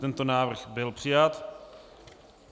Tento návrh byl přijat.